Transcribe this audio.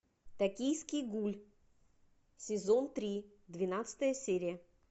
токийский гуль сезон три двенадцатая серия